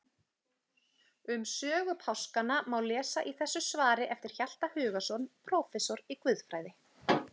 Um sögu páskanna má lesa í þessu svari eftir Hjalta Hugason prófessor í guðfræði.